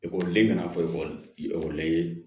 Ekɔliden mana fɔ ekɔli ekɔli la i ye